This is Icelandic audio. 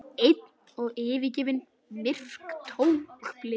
Myrk og tóm og blind.